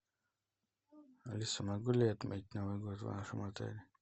алиса могу ли я отметить новый год в вашем отеле